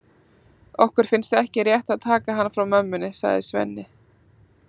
Okkur finnst ekki rétt að taka hann frá mömmunni, sagði Svenni.